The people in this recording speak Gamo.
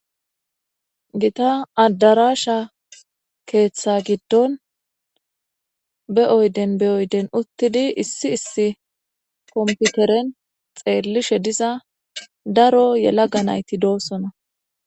Gita adarasha ketha gidon Be oyden be oyden uttidi issi issi kompideren daro yelaga nayti doosona